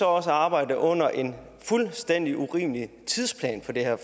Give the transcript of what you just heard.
også arbejde under en fuldstændig urimelig tidsplan for det her